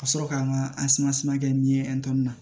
Ka sɔrɔ ka n ka kɛ n ye na